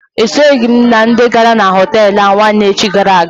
E soghi m na ndị gara na họtelụ ahụ nwanne echi gara aga.